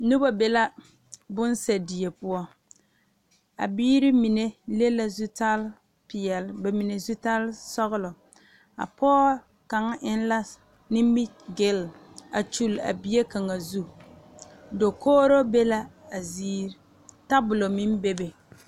Noba mine be bonse die poɔ a biiri mine le la zutare peɛle zutare sɔgelɔ a pɔɔ kaŋ e la nimi gele a kyuli a bie kaŋa zu dakogro be la a ziiri tabol meŋ be be